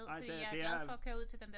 Nej det det er